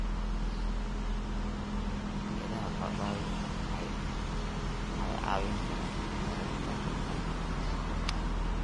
Midhaha papai waxay caawin karaan yareynta xanuunka qoor.